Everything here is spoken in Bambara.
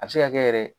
A bɛ se ka kɛ yɛrɛ